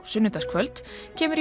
sunnudagskvöld kemur